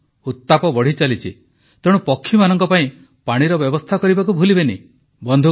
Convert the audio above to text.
ହଁ ଉତ୍ତାପ ବଢ଼ିଚାଲିଛି ତେଣୁ ପକ୍ଷୀମାନଙ୍କ ପାଇଁ ପାଣିର ବ୍ୟବସ୍ଥା କରିବାକୁ ଭୁଲିବେନି